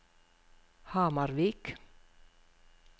Hamarvik